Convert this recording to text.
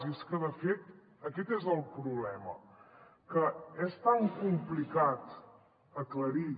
i és que de fet aquest és el problema que és tan complicat aclarir